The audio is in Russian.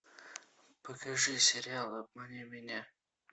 покажи сериал обмани меня